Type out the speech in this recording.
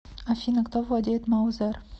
афина кто владеет маузер